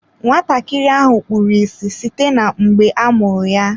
Nwatakịrị ahụ kpuru ịsị site mgbe a mụrụ ya.